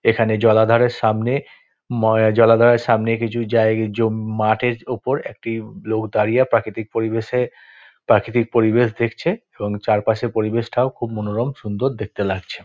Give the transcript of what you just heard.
এখানে জলাধারের সামনে ম জলাধারের সামনে কিছু জায় জম মাঠের ওপর একটি লোক দাঁড়িয়ে প্রাকৃতিক পরিবেশে প্রাকৃতিক পরিবেশ দেখছে এবং চারপাশে পরিবেশ টাও খুব মনোরম সুন্দর দেখতে লাগছে।